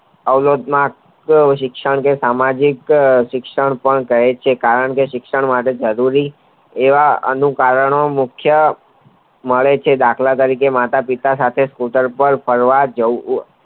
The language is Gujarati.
અવરોધમાં કે શિક્ષણ કે સામાજિક શિક્ષણ પણ કાગે છે કારણ કે શિક્ષણ માટે જરૂરી એવા એનું કારણો મુખ્ય મળે છે દાખલ તરીકે માતા પિતા સાથે સ્કૂટર પર ફરવા જવું